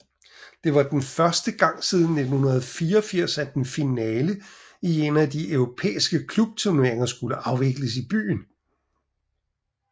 Det var første gang siden 1984 at en finale i en af de europæiske klubturneringer skulle afvikles i byen